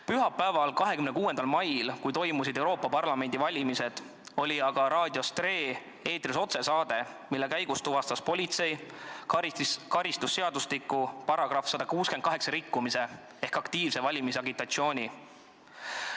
Pühapäeval, 26. mail, kui toimusid Euroopa Parlamendi valimised, oli aga Tre Raadio eetris otsesaade, mille käigus tuvastas politsei karistusseadustiku § 168 rikkumise ehk aktiivse valimisagitatsiooni.